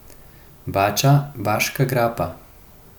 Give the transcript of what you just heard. Bača, Baška grapa?